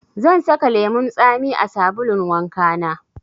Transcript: Zan saka lemun tsami a sabulun wanka na.